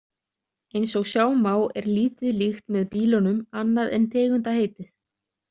Eins og sjá má er lítið líkt með bílunum annað en tegundaheitið.